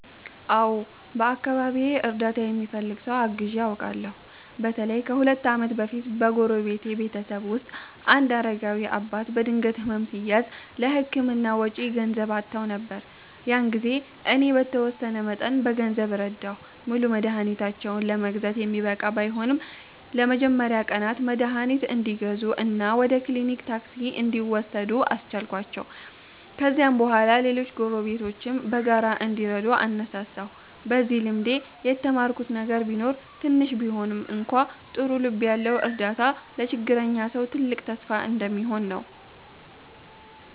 አዎ፣ በአካባቢዬ እርዳታ የሚፈልግ ሰው አግዘው አውቃለሁ። በተለይም ከሁለት ዓመት በፊት በጎረቤቴ ቤተሰብ ውስጥ አንድ አረጋዊ አባት በድንገት ሕመም ሲያዝ፣ ለሕክምና ወጪ ገንዘብ አጥተው ነበር። ያን ጊዜ እኔ በተወሰነ መጠን በገንዘብ ረዳሁ። ሙሉ መድኃኒታቸውን ለመግዛት የሚበቃ ባይሆንም፣ ለመጀመሪያ ቀናት መድኃኒት እንዲገዙ እና ወደ ክሊኒክ ታክሲ እንዲወስዱ አስቻልኳቸው። ከዚያም በኋላ ሌሎች ጎረቤቶችም በጋራ እንዲረዱ አነሳሳሁ። በዚህ ልምዴ የተማርኩት ነገር ቢኖር ትንሽ ቢሆንም እንኳ ጥሩ ልብ ያለው እርዳታ ለችግረኛ ሰው ትልቅ ተስፋ እንደሚሆን ነው።